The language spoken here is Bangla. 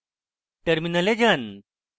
terminal যান